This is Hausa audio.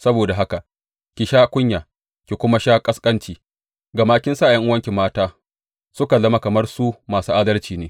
Saboda haka, ki sha kunya ki kuma sha ƙasƙancinki, gama kin sa ’yan’uwanki mata suka zama kamar su masu adalci ne.